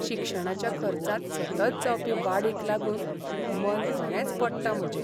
शिक्षणाच्या खर्चांत सतत जावपी वाडीक लागून मन खरेंच पडटा म्हजें.